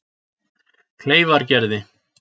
Kleifargerði